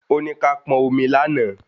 Ó ní ká pọn omi lánàá